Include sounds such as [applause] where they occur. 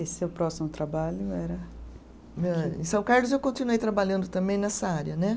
Esse seu próximo trabalho era. [unintelligible] Em São Carlos eu continuei trabalhando também nessa área, né?